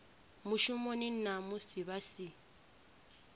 mushumoni na musi vha si